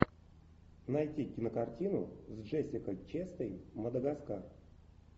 найти кинокартину с джессикой честейн мадагаскар